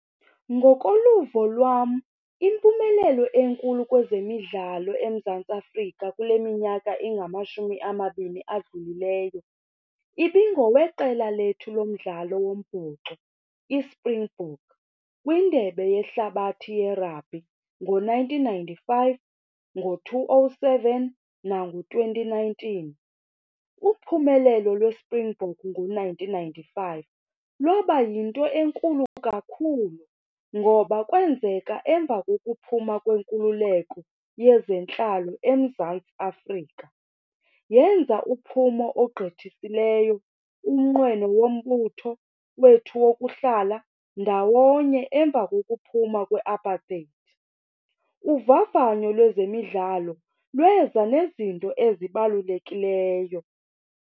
Ngokoluvo lwam, impumelelo enkulu kwezemidlalo eMzantsi Afrika kule minyaka ingamashumi amabini adlulileyo ibingoweqela lethu lomdlalo wombhoxo iSpringbok kwiNdebe yeHlabathi yeRabhi ngo-nineteen ninety-five, ngo-two oh seven nango- twenty nineteen. Uphumelelo lweSpringboks ngo-nineteeen ninety-five lwaba yinto enkulu kakhulu ngoba kwenzeka emva kokuphuma kwenkululeko yezentlalo eMzantsi Afrika. Yenza uphumo ogqithisileyo umnqweno wombutho wethu wokuhlala ndawonye emva kokuphuma kwe-apartheid. Uvavanyo lwezemidlalo lweza nezinto ezibalulekileyo.